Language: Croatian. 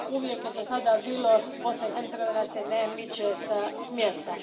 Uvijek je dosada bilo Bosna i Hercegovina se ne miče s mjesta.